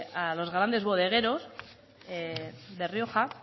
a los grandes bodegueros de rioja